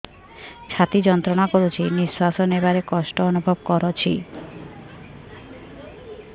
ଛାତି ଯନ୍ତ୍ରଣା କରୁଛି ନିଶ୍ୱାସ ନେବାରେ କଷ୍ଟ ଅନୁଭବ କରୁଛି